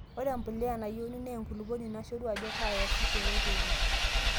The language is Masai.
ore embuliya nayeuni naa enkulupuoni nashoru ajo kaa iyasishore teine